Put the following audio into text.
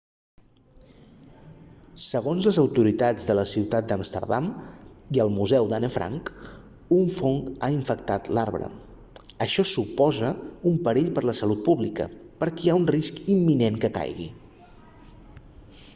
segons les autoritats de la ciutat d'amsterdam i el museu d'anne frank un fong ha infectat l'arbre això suposa un perill per la salut pública perquè hi ha un risc imminent que caigui